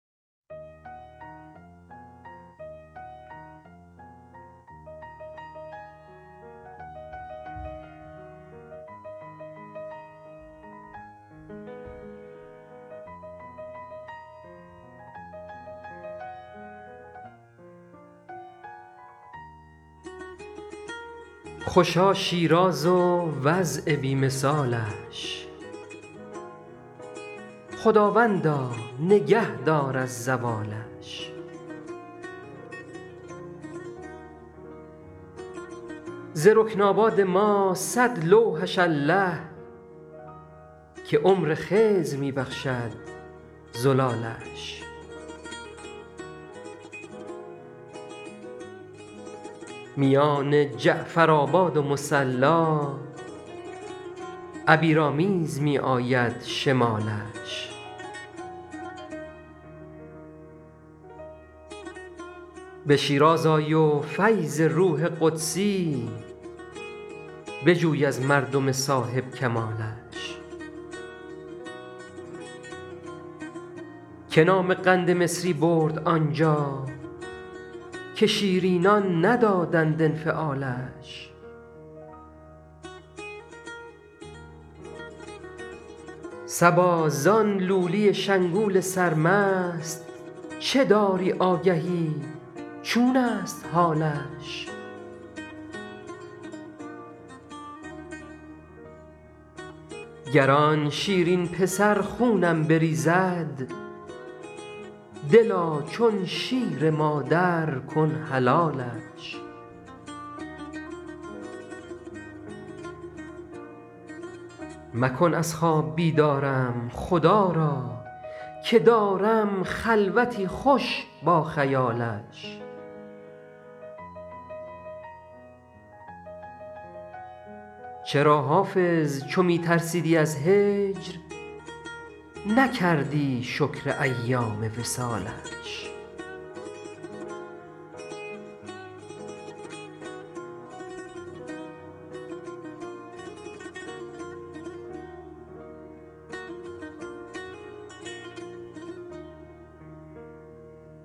خوشا شیراز و وضع بی مثالش خداوندا نگه دار از زوالش ز رکن آباد ما صد لوحش الله که عمر خضر می بخشد زلالش میان جعفرآباد و مصلا عبیرآمیز می آید شمالش به شیراز آی و فیض روح قدسی بجوی از مردم صاحب کمالش که نام قند مصری برد آنجا که شیرینان ندادند انفعالش صبا زان لولی شنگول سرمست چه داری آگهی چون است حالش گر آن شیرین پسر خونم بریزد دلا چون شیر مادر کن حلالش مکن از خواب بیدارم خدا را که دارم خلوتی خوش با خیالش چرا حافظ چو می ترسیدی از هجر نکردی شکر ایام وصالش